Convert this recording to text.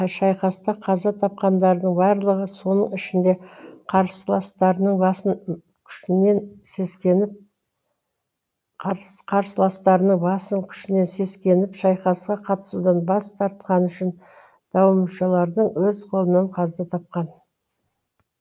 шайқаста қаза тапқандардың барлығы соның ішінде қарсыластарының басым күшінен сескеніп шайқасқа қатысудан бас тартқаны үшін дауымшардың өз қолынан қаза тапқан